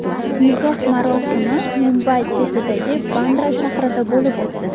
Nikoh marosimi Mumbay chetidagi Bandra shahrida bo‘lib o‘tdi.